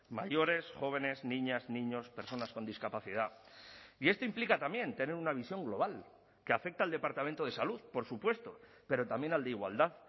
mayores jóvenes niñas niños personas con discapacidad y esto implica también tener una visión global que afecta al departamento de salud por supuesto pero también al de igualdad